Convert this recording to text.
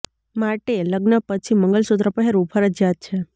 માટે લગ્ન પછી મંગલ સૂત્ર પહેરવું ફરજીયાત છે